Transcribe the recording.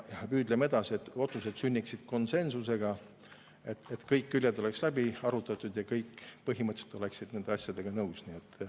Püüdleme edasi selle poole, et otsused sünniksid konsensusega, et kõik küljed oleks läbi arutatud ja kõik oleksid põhimõtteliselt nende asjadega nõus.